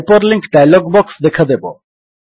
hyperlink dialog box ଦେଖାଦେବ